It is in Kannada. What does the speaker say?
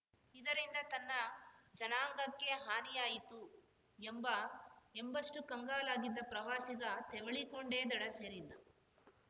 ಇದರಿಂದ ತನ್ನ ಜನಾಂಗಕ್ಕೆ ಹಾನಿಯಾಯಿತು ಎಂಬ ಎಂಬಷ್ಟುಕಂಗಾಲಾಗಿದ್ದ ಪ್ರವಾಸಿಗ ತೆವಳಿಕೊಂಡೇ ದಡ ಸೇರಿದ್ದ